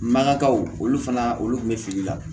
Mankakaw olu fana olu tun bɛ fili la